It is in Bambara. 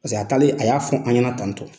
Paseke a talen a y'a fɔ an ɲɛna tantɔ.